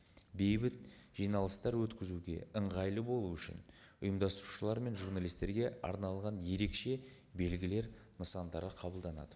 бейбіт жиналыстар өткізуге ыңғайлы болу үшін ұйымдастырушылар мен журналисттерге арналған ерекше белгілер нысандары қабылданады